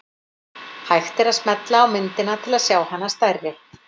Hægt er að smella á myndina til að sjá hana stærri.